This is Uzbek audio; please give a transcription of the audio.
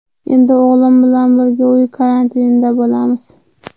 Endi o‘g‘lim bilan birga uy karantinida bo‘lamiz.